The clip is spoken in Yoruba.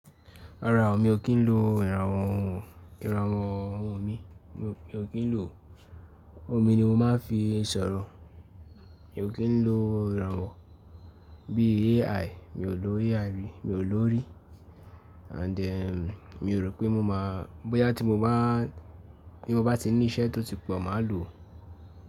Rárá o, mi ò kí ń lo ìrànwọ́ ohun, ìrànwọ́ ohun mi. Mi ò kí ń lò, omi ni mo máa ń fi sọ̀rọ̀. Mi ò kí ń lo ìrànwọ́ bí i AI, mi ò lo AI rí, mi ò lò rí. And eh mi ò rò pé mo máa, bóyá tí mo bá, tí mo bá ti ní iṣẹ́ tó ti pọ̀, mà á lòó.